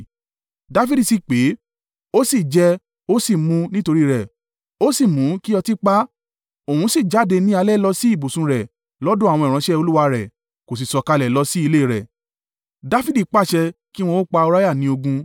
Dafidi sì pè é, ó sì jẹ, ó sì mú nítorí rẹ̀; ó sì mu kí ọtí pa á; òun sì jáde ní alẹ́ lọ sí ibùsùn rẹ̀ lọ́dọ̀ àwọn ìránṣẹ́ olúwa rẹ̀, kò sì sọ̀kalẹ̀ lọ sí ilé rẹ̀.